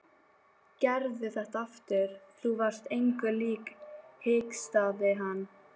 Gerðu þetta aftur, þú varst engu lík hikstaði hann.